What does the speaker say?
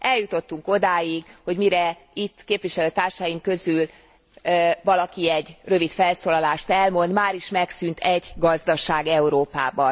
Eljutottunk odáig, hogy mire itt képviselőtársaim közül valaki egy rövid felszólalást elmond, máris megszűnt egy gazdaság Európában.